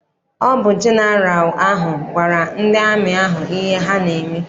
Ọ bụ jeneral ahụ gwara ndị amị ahụ ihe ha n'eme.